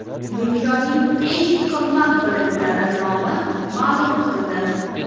Dunyoning eng qimmat brendlari nomi ma’lum qilindi.